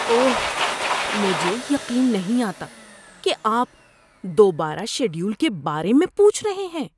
اوہ، مجھے یقین نہیں آتا کہ آپ دوبارہ شیڈول کے بارے میں پوچھ رہے ہیں!